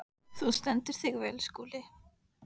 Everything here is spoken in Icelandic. Þú stendur þig vel, Skúli!